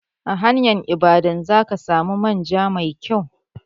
A hanyar Ibadan za ka samu manja mai kyau.